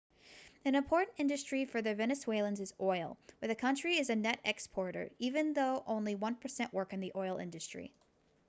an important industry for venezuelans is oil where the country is a net exporter even though only one percent work in the oil industry